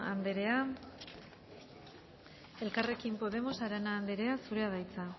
anderea elkarrekin podemos arana anderea zurea da hitza